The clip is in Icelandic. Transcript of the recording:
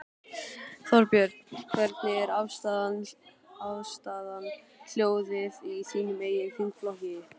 Þorbjörn: Hvernig er afstaðan, hljóðið í þínum eigin þingflokki?